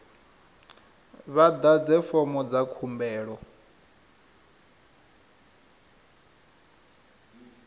vha ḓadze fomo dza khumbelo